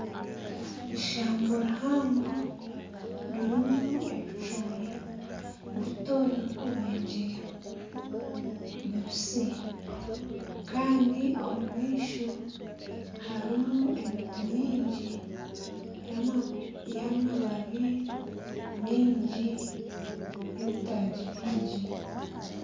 Ishamba rihango ririmu ebicoori bito birikubegyeya bibisi kandi omu maisho harimu emiti mingi y'amabaabi mingi n'ebitagi byingi.